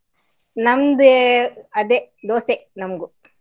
ನಮ್ದೆ ಅದೇ, ದೋಸೆ ನಮ್ಗೂ.